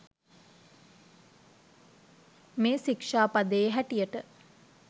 මේ ශික්‍ෂාපදයේ හැටියට